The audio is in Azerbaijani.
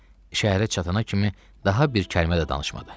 Şəhərə çatana kimi daha bir kəlmə də danışmadı.